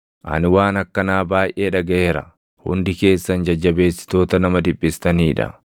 “Ani waan akkanaa baayʼee dhagaʼeera; hundi keessan jajjabeessitoota nama dhiphistanii dha!